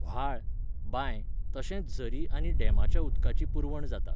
व्हाळ, बांय तशेंच झरी आनी डॅमाच्या उदकाची पुरवण जाता.